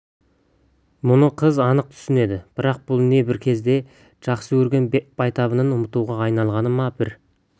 мұны қыз анық түсінеді бірақ бұл не бір кезде жақсы көрген байтабынын ұмытуға айналғаны ма бір